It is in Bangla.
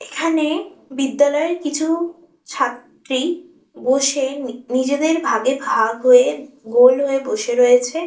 এখানে বিদ্যালয়ের কিছু ছাত্রী বসে নি নিজেদের ভাগে ভাগ হয়ে গোল হয়ে বসে রয়েছে।